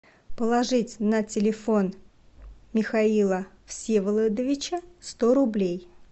положить на телефон михаила всеволодовича сто рублей